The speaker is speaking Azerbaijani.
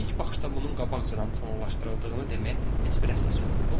İlk baxışda bunun qabaqcadan planlaşdırıldığını deməyə heç bir əsas yox idi.